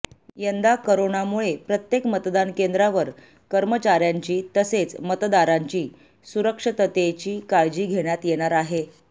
यंदा करोनामुळे प्रत्येक मतदान केंद्रांवर कर्मचाऱ्यांची तसेच मतदारांची सुरक्षिततेची काळजी घेण्यात येणार आहे